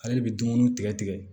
Ale de bɛ dumuni tigɛ tigɛ